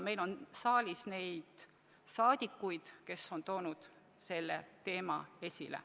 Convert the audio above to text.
Meil on saalis rahvasaadikuid, kes on toonud selle teema esile.